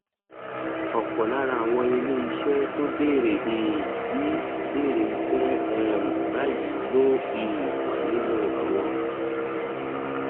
òpò lára àwọn ilé iṣé tó bèrè um sí í bèrè iṣé um báyìí ló um wà nínú àwọn